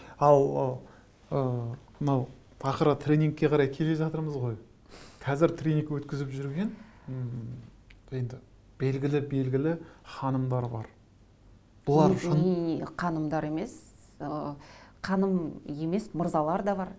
ал ы ы мынау ақыры тренингке қарай келе жатырмыз ғой қазір тренинг өткізіп жүрген м енді белгілі белгілі ханымдар бар ханымдар емес ы ханым емес мырзалар да бар